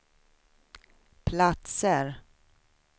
platser